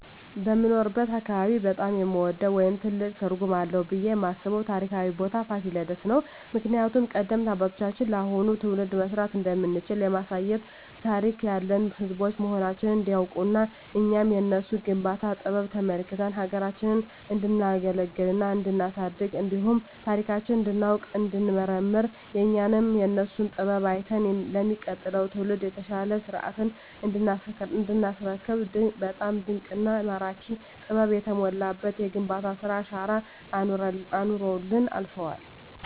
በምኖርበት አካባቢ በጣም የምወደው ወይም ትልቅ ትርጉም አለዉ ብየ የማስበው ታሪካዊ ቦታ ፋሲለደስ ነው። ምክንያቱም ቀደምት አባቶቻችን ለአሁኑ ትውልድ መስራት እንደምንችል ለማሳየት ታሪክ ያለን ህዝቦች መሆናችንን እንዲናውቅና እኛም የነሱን የግንባታ ጥበብ ተመልክተን ሀገራችንን እንዲናገለግልና እንዲናሳድግ እንዲሁም ታሪካችንን እንዲናውቅ እንዲንመራመር እኛም የነሱን ጥበብ አይተን ለሚቀጥለው ትውልድ የተሻለ ሰርተን እንዲናስረክብ በጣም ድንቅና ማራኪ ጥበብ የተሞላበት የግንባታ ስራ አሻራ አኑረውልን አልፈዋል።